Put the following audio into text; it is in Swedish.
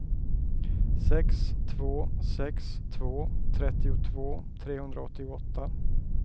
sex två sex två trettiotvå trehundraåttioåtta